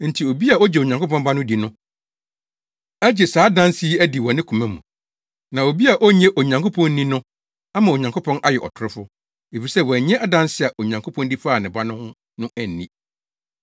Enti obi a ogye Onyankopɔn Ba no di no agye saa adanse yi adi wɔ ne koma mu. Na obi a onnye Onyankopɔn nni no ama Onyankopɔn ayɛ ɔtorofo, efisɛ wannye adanse a Onyankopɔn di faa ne Ba no ho no anni.